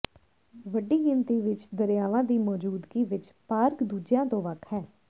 ਵੱਡੀ ਗਿਣਤੀ ਵਿੱਚ ਦਰਿਆਵਾਂ ਦੀ ਮੌਜੂਦਗੀ ਵਿੱਚ ਪਾਰਕ ਦੂਜਿਆਂ ਤੋਂ ਵੱਖ ਹੈ